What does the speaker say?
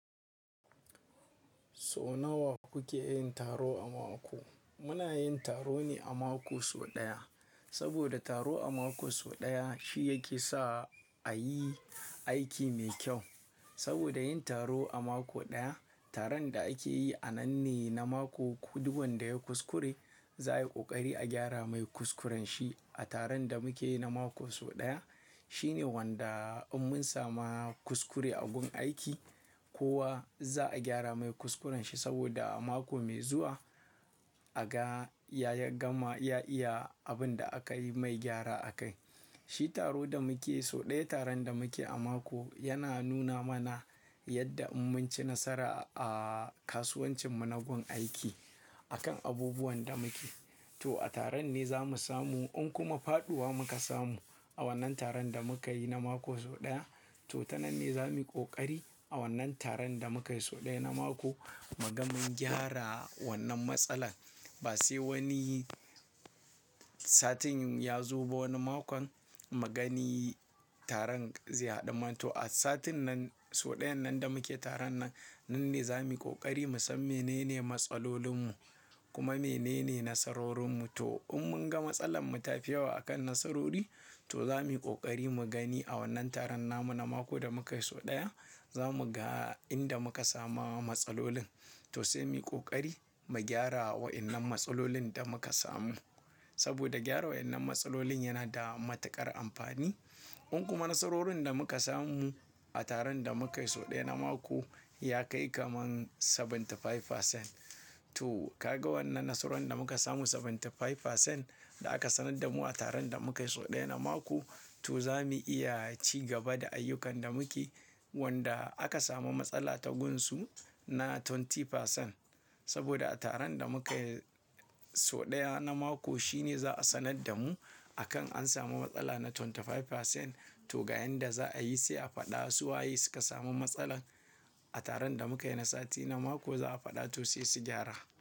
So nawa kuke yin taro a mako? Muna yin taro ne a mako so ɗaya, saboda taro a mako so ɗaya shi yake sa a yi aiki mai kyau. Saboda yin taro a mako ɗaya, taron da ake yi a nan ne na mako. Duk wanda yayi kuskure za'a yi ƙoƙari a gyara mai kuskuren shi a taron da muke yi na mako so ɗaya. Shine wanda in mun sama kuskure a gun aiki, kowa za'a gyara mai kuskuren shi saboda a mako mai zuwa a ga ya gama ya iya abin da aka yi mai gyara a kai. Shi taro da muke so ɗaya, taron da muke a mako yana nuna mana yadda in mun ci nasara a kasuwancin mu na gun aiki a kan abubuwan da muke. To a taron ne za mu samu in kuma faɗuwa muka samu a wannan taron da muka yi na mako so ɗaya, to ta nan ne za mu yi ƙoƙari a wannan taron da muka yi so ɗaya na mako mu ga mun gyara wannan matsala. Ba sai wani satin ya za ba wani makon mu gani taron zai haɗu mq. To, a satin nan so ɗayan nan da muke taron nan, nan ne za mu yi ƙoƙari mu san menene matsalolin mu kuma menene nasarorin mu. To in mun ga matsalar mu ta fi yawa a kan nasarori, to za mu yi ƙoƙari mu gani a wannan taron namu na mako da muka yi so ɗaya. Za mu ga inda muka sama matsalolin, to sai muyi ƙoƙari mu gyara wayannan matsalolin da muka samu. Saboda gyara wayannan matsalolin yana da matuƙar amfani. In kuma nasarorin da muka samu a taron da muka yi so ɗaya na mako ya kai kaman kashi saba'in da biyar. To kaga wannan nasarorin da muka samu kashi saba'in da biyar da aka sanar da mu a taron da muka yi so ɗaya na mako, to za mu iya ci gaba da ayyukan da muke wanda aka samu matsala ta gun su na kashi ashirin. Saboda a taron da muka yi so ɗaya na mako shine za a sanar da mu akan an samu matsala na kashi ashirin da biyar. To ga yanda za a yi sai a faɗa su waye suka samu matsalan a taron da muka yi na sati na mako za a faɗa to sai su gyara.